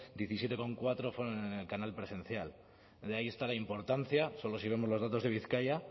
diecisiete coma cuatro fueron en el canal presencial de ahí está la importancia solo si vemos los datos de bizkaia